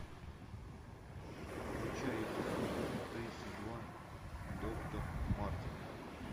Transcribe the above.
включай эпизод тридцать два доктор мартин